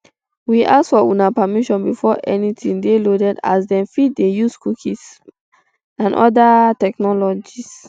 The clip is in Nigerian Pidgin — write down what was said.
we ask for una permission before anytin dey loaded as dem fit dey use cookies um and oda um technologies